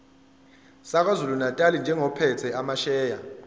sakwazulunatali njengophethe amasheya